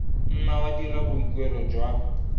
nna wa dira boikuelo jwa